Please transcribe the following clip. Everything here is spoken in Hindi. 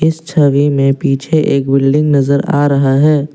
इस छवि में पीछे एक बिल्डिंग नजर आ रहा है।